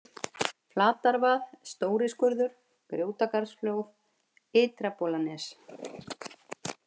Flatarvað, Stóri-skurður, Grjótgarðsflóð, Ytra-Bolanes